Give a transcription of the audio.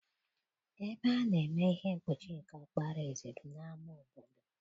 Ebe a na-eme ihe mkpuchi nke ọkpara eze bụ n'ama obodo.